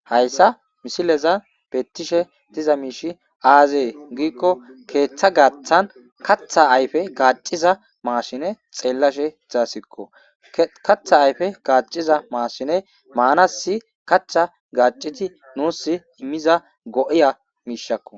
hayssa misilezan bettishe diza miish aazee giikko keeththa gaathan katha ayfe gaaciza maasine xeellashe dzaasikko katha ayfe gaaciza maasine maanasi kachcha gaaciti nuus immiza go'iya miishakko